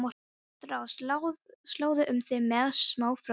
Gott ráð: Sláðu um þig með smá frönsku.